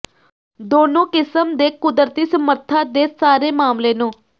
ਦੋਨੋ ਕਿਸਮ ਦੇ ਕੁਦਰਤੀ ਸਮਰੱਥਾ ਦੇ ਸਾਰੇ ਮਾਮਲੇ ਨੂੰ